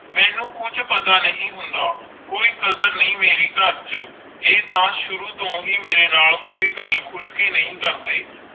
ਮੇਨੂ ਕੁਜ ਪਤਾ ਨਹੀਂ ਹੋਂਦ ਕੋਈ ਕਾਦਰ ਨਹੀਂ ਮੇਰੀ ਕਰ ਚ ਆਈ ਤਾ ਸ਼ੁਰੂ ਤੂੰ ਹੈ ਮੇਰੇ ਨਾਲ ਕੋਈਂ ਗੱਲ ਖੁਲ ਕਰ ਨਹੀਂ ਕਰਦੇ